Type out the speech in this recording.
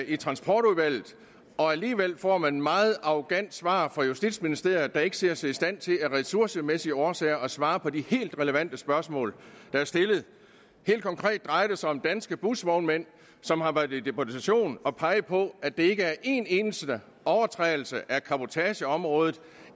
i transportudvalget og alligevel får man et meget arrogant svar fra justitsministeriet der ikke ser sig i stand til af ressourcemæssige årsager at svare på de helt relevante spørgsmål der er stillet helt konkret drejer det sig om danske busvognmænd som har været i deputation og peget på at der ikke er en eneste overtrædelse af cabotageområdet